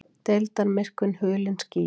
Deildarmyrkvinn hulinn skýjum